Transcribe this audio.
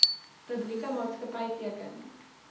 publieke maatskapy teken